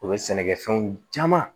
O bɛ sɛnɛkɛfɛnw caman